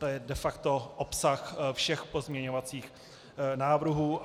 To je de facto obsah všech pozměňovacích návrhů.